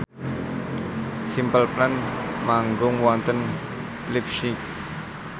Simple Plan manggung wonten leipzig